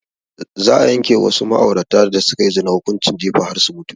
Za a yanke wa wasu ma'aurata da sukayi zina hukunci jifa har su mutu